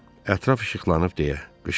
Ətraf işıqlanıb deyə qışqırdı.